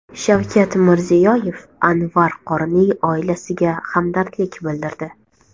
Shavkat Mirziyoyev Anvar qorining oilasiga hamdardlik bildirdi.